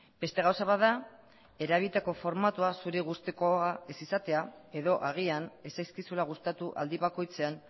beste gauza bat da erabilitako formatua zure gustukoa ez izatea edo agian ez zaizkizula gustatu aldi bakoitzean